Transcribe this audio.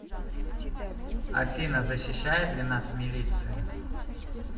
афина защищает ли нас милиция